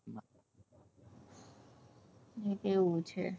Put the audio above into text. હ એવું છે